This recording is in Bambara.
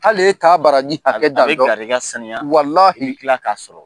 Hali e t'a baraji hakɛ dan don a be garijigɛ sanuya walahi i b'i kila k'a sɔrɔ